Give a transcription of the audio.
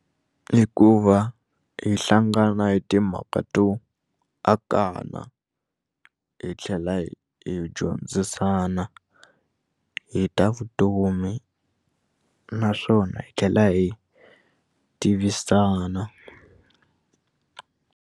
I ku va hi hlangana hi timhaka to anakanya hi tlhela hi hi dyondzisana hi ta vutomi naswona hi tlhela hi tivisana.